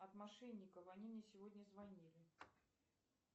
от мошенников они мне сегодня звонили